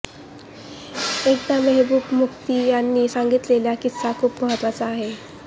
एकदा महेबूबा मुफ्ती यांनी सांगितलेला किस्सा खूप महत्त्वाचा आहे